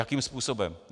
Jakým způsobem?